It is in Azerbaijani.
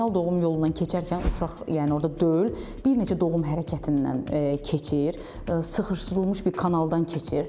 Vaginal doğum yolundan keçərkən uşaq, yəni orda döl, bir neçə doğum hərəkətindən keçir, sıxışdırılmış bir kanaldan keçir.